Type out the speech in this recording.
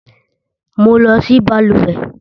Mo. lọ sí balùwẹ́